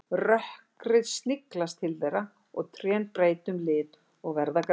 Rökkrið sniglast til þeirra og trén breyta um lit og verða grárri.